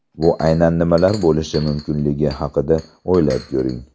Bu aynan nimalar bo‘lishi mumkinligi haqida o‘ylab ko‘ring.